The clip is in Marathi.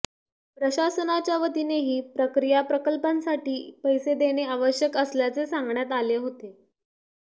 प्रशासनाच्या वतीनेही प्रक्रिया प्रकल्पांसाठी पैसे देणे आवश्यक असल्याचे सांगण्यात आले होते